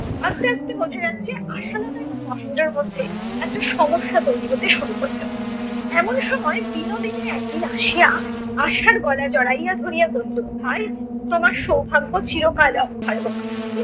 আস্তে আস্তে বোঝা যাচ্ছে আশালতার এবং মহেন্দ্রর মধ্যে একটা সমস্যা তৈরী হতে শুরু করিলো। এমন সময় বিনোদিনী একদিন আসিয়া আশার গলা জড়াইয়া ধরিয়া কহিলো তোমার সৌভাগ্য চিরকাল অক্ষয় হোক।